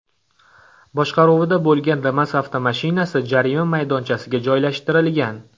boshqaruvida bo‘lgan Damas avtomashinasi jarima maydonchasiga joylashtirilgan.